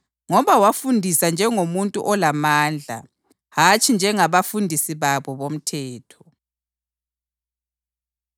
ngoba wafundisa njengomuntu olamandla, hatshi njengabafundisi babo bomthetho.